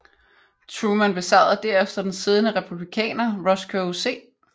Truman besejrede derefter den siddende Republikaner Roscoe C